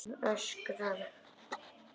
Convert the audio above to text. Hann öskrar.